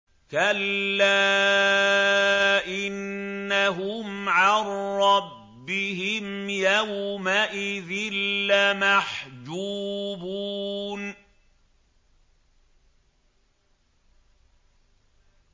كَلَّا إِنَّهُمْ عَن رَّبِّهِمْ يَوْمَئِذٍ لَّمَحْجُوبُونَ